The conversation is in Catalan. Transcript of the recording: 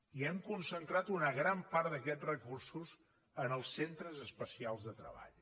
i hem concentrat una gran part d’aquests recursos en els centres especials de treball